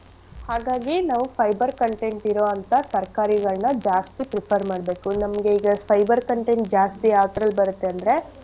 ಹಾಗಾಗಿ ನಾವು fiber content ಇರೋಂಥ ತರ್ಕಾರಿಗಳ್ನ ಜಾಸ್ತಿ prefer ಮಾಡ್ಬೇಕು ನಮ್ಗೆ ಈಗ fiber content ಯಾವ್ದ್ರಲ್ ಜಾಸ್ತಿ ಬರತ್ತೆ ಅಂದ್ರೆ.